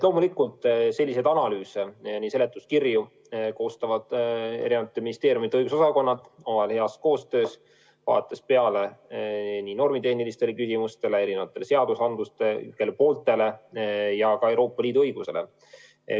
Loomulikult selliseid analüüse ja seletuskirju koostavad eri ministeeriumide õigusosakonnad ja omavahel heas koostöös, vaadates peale nii normitehnilistele küsimustele, meie õigusaktidele kui ka Euroopa Liidu õigusele.